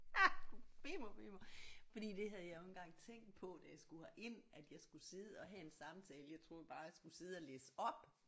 Er du bimmer vimmer fordi det havde jeg jo ikke engang tænkt på da jeg skulle herind at jeg skulle sidde og have en samtale jeg troede bare jeg skulle sidde og læse op